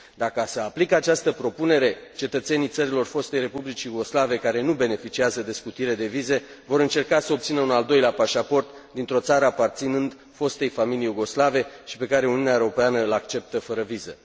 Dar, ca să aplic această propunere, cetățenii țărilor fostei Republici Iugoslave care nu beneficiază de scutire de vize vor încerca să obțină un al doilea pașaport dintr o țară aparținând fostei familii iugoslave și pe care Uniunea Europeană îl acceptă fără viză.